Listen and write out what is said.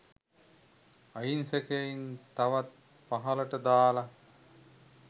අහිංසකයින් තවත් පහළට දාලා